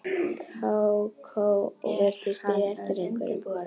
Kókó og virtist bíða eftir einhverjum.